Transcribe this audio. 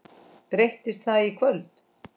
Breytist það í kvöld?